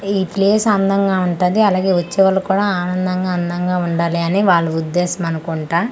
ఈ ప్లేస్ అందంగా ఉంటాది అలాగే వచ్చేవాలు కూడా ఆనందంగా అందంగా ఉండాలని వాలు ఉద్దేశం అనుకుంటా.